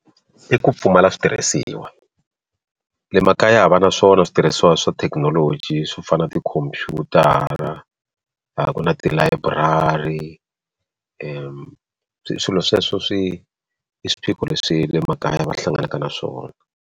I ku pfumala switirhisiwa le makaya a va na swona switirhisiwa swa thekinoloji swo fana na tikhompyutara laha ku na tilayiburari swilo sweswo swi i swiphiqo leswi le makaya va hlanganaka na swona.